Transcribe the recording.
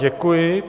Děkuji.